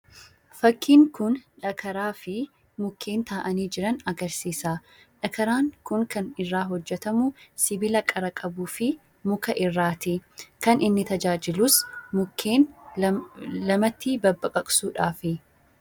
Fakkiin kun dhagaraa fi mukkeen taa'anii jiran agarsiisa. Dhakaraan kun kan irraa hojjatamu sibiila qara qabuu fi mukarraati. Kan inni tajaajilus mukkeen bakka lamatti babbaqaqsuudhaafi.